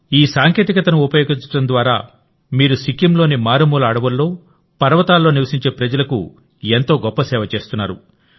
ఈ సాంకేతికతను ఉపయోగించడం ద్వారామీరు సిక్కింలోని మారుమూల అడవుల్లో పర్వతాల్లో నివసించే ప్రజలకు ఎంతో గొప్ప సేవ చేస్తున్నారు